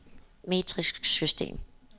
metrisk system